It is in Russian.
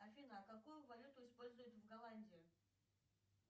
афина а какую валюту используют в голландии